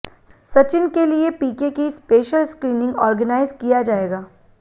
सचिन के लिए पीके की स्पेशल स्क्रीनिंग ऑरगनाइज किया जाएगा